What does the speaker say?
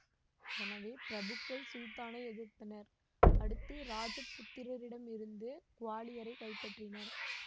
எனவே பிரபுக்கள் சுல்தானை எதிர்த்தனர் அடுத்து இராஜபுத்திரரிடமிருந்து குவாலியரைக் கைப்பற்றினார்